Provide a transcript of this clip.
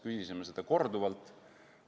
Küsisime seda korduvalt.